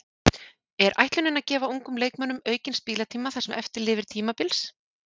Er ætlunin að gefa ungum leikmönnum aukinn spilatíma það sem eftir lifir tímabils?